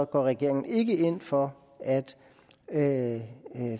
går regeringen ikke ind for at